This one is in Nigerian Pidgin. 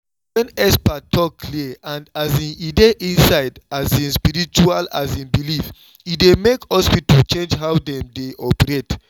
when expert talk clear and um e dey inside um spiritual um belief e dey make hospitals change how dem dey operate.